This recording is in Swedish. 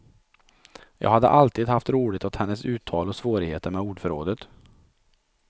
Jag hade alltid haft roligt åt hennes uttal och svårigheter med ordförrådet.